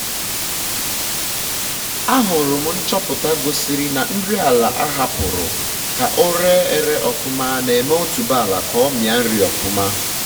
ahụrụ m nchọpụta gosiri na nri ala ahapụrụ ka o re ere ofụma na-eme otuboala ka ọ mịa nri ọfụma